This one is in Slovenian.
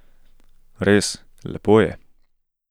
Res, lepo je.